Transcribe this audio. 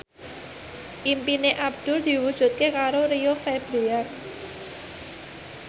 impine Abdul diwujudke karo Rio Febrian